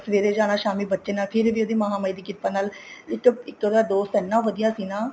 ਸਵੇਰੇ ਜਾਣਾ ਸ਼ਾਮੀ ਬੱਚੇ ਨਾਲ ਉਹਦੀ ਮਹਾ ਮਾਈ ਦੀ ਕਿਰਪਾ ਨਾਲ ਇੱਕ ਉਹਦਾ ਦੋਸਤ ਇੰਨਾ ਵਧੀਆ ਸੀ ਨਾ